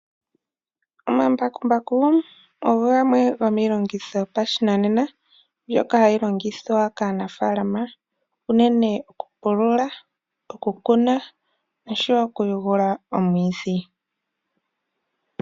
Omambakumbaku ogo gamwe goo milongitho yopashinanena mbyoka hayi longithwa kaanafalama uunene okupulula , okukuna noshowo okuyugula omwiidhi.